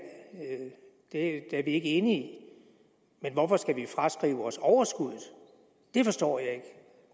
er vi ikke enige men hvorfor skal vi fraskrive os overskuddet det forstår jeg ikke